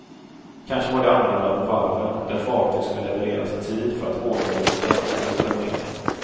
Kanske var det annorlunda på varven, där fartyg skulle levereras i tid för att hårdvaluta skulle strömma in.